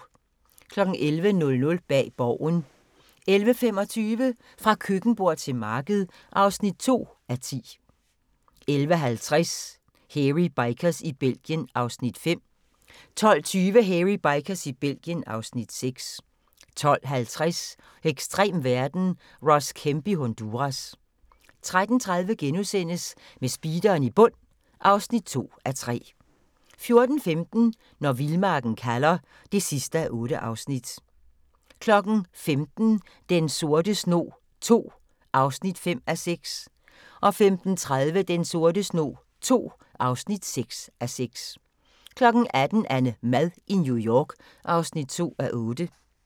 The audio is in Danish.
11:00: Bag Borgen 11:25: Fra køkkenbord til marked (2:10) 11:50: Hairy Bikers i Belgien (Afs. 5) 12:20: Hairy Bikers i Belgien (Afs. 6) 12:50: Ekstrem verden – Ross Kemp i Honduras 13:30: Med speederen i bund (2:3)* 14:15: Når vildmarken kalder (8:8) 15:00: Den sorte snog II (5:6) 15:30: Den sorte snog II (6:6) 16:00: AnneMad i New York (2:8)